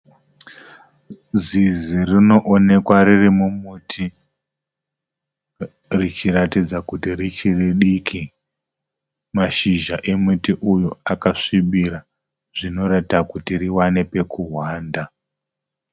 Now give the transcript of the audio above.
Zizi rinoonekwa riri mumuti richiratidza kuti richiri diki. Mashizha emuti uyu akasvibira zvinoita kuti riwane pekuhwanda.